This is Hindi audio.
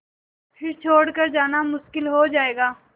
फिर छोड़ कर जाना मुश्किल हो जाएगा